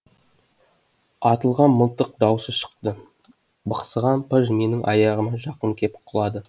атылған мылтық даусы шықты бықсыған пыж менің аяғыма жақын кеп құлады